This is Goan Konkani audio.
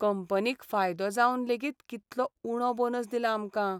कंपनीक फायदो जावन लेगीत कितलो उणो बोनस दिला आमकां.